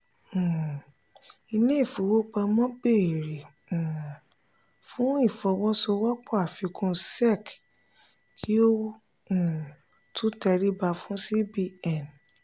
um ilé ìfowópamọ́ béèrè um fún ìfọwọ́sowọ́pọ̀ àfikún sec kí ó um tó tẹríba fún cbn.